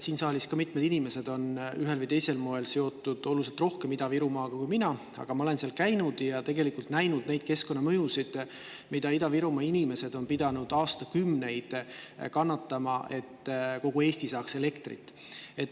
Siin saalis on mitmed inimesed ühel või teisel moel seotud oluliselt rohkem Ida-Virumaaga kui mina, aga ma olen seal käinud ja näinud neid keskkonnamõjusid, mida Ida-Virumaa inimesed on pidanud aastakümneid kannatama, et kogu Eesti saaks elektrit.